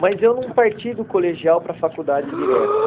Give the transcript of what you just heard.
Mas eu não parti do colegial para a faculdade direto.